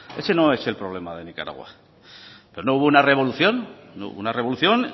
ese no es el problema de nicaragua de nuevo una revolución hubo una revolución